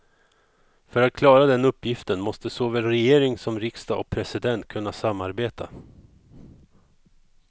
För att klara den uppgiften måste såväl regering som riksdag och president kunna samarbeta.